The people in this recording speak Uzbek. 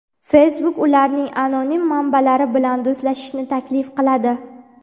Facebook ularning anonim manbalari bilan do‘stlashishni taklif qiladi.